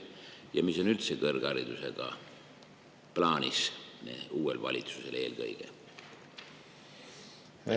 Ja mis on üldse kõrgharidusega plaanis, uuel valitsusel eelkõige?